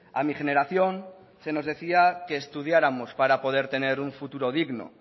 a mi generación se nos decía que estudiáramos para poder tener un futuro digno